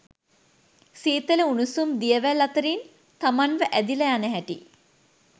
සීතල උණුසුම් දියවැල් අතරින් තමන්ව ඇදිලා යන හැටි